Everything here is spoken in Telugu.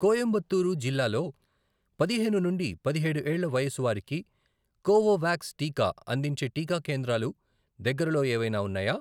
కొయంబత్తూరు జిల్లాలో పదిహేను నుండి పదిహేడు ఏళ్ల వయసు వారికి కోవోవాక్స్ టీకా అందించే టీకా కేంద్రాలు దగ్గరలో ఏవైనా ఉన్నాయా?